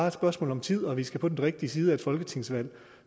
et spørgsmål om tid og at vi skal over på den rigtige side af et folketingsvalg